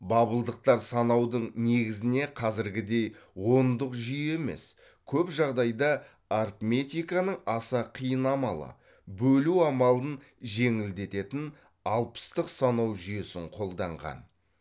бабылдықтар санаудың негізіне қазіргідей ондық жүйе емес көп жағдайда арифметиканың аса қиын амалы бөлу амалын жеңілдететін алпыстық санау жүйесін қолданған